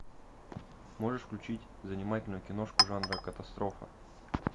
можешь включить занимательную киношку жанра катастрофа